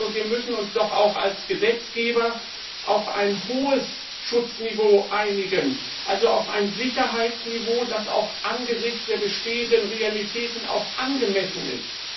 Wir müssen uns doch auch als Gesetzgeber auf ein hohes Schutzniveau einigen, also auf ein Sicherheitsniveau, das angesichts der bestehenden Realitäten auch angemessen ist.